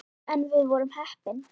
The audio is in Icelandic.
En við vorum heppin.